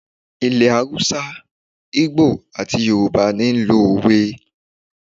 Ilẹ̀ Haúsá, Ígbò àti Yorùbá ni ó n lo òwe